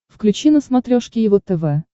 включи на смотрешке его тв